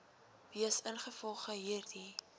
wees ingevolge hierdie